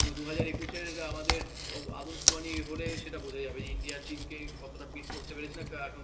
তো দুই হাজার একুশ এর আমাদের আদমশুমারি হলে বুঝা যাবে যে ইন্ডিয়া চীনকে কতটা ভেদ করতে পেরেছে